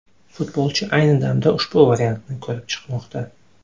Futbolchi ayni damda ushbu variantni ko‘rib chiqmoqda.